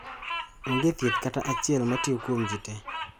Onge thieth kata achiel matiyo kuom ji te.